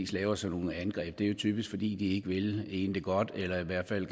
laver sådan nogle angreb gør det jo typisk fordi de ikke vil en det godt eller i hvert fald